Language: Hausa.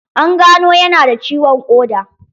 An gano ya nada ciwon ƙoda.